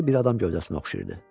hərəsi bir adam gövdəsinə oxşayırdı.